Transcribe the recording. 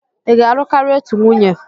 ị ga-alụ karịa otu nwunye?